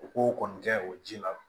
U k'o kɔni kɛ o ji la